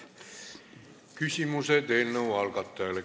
Küsimused eelnõu algatajale.